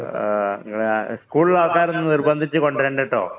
ആ നിങ്ങള് സ്കൂളിലെ ആള്‍ക്കാരെ ഒന്നും നിര്‍ബന്ധിച്ചു കൊണ്ട് വരണ്ട കേട്ടോ.